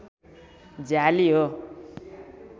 झ्याली हो